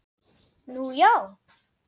Nú, já!